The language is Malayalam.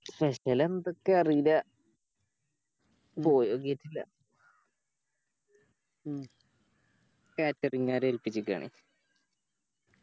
Special എന്തൊക്കെയാ അറീല്ല ല്ല Catering കാരെ ഏൽപ്പിച്ചേക്കണേ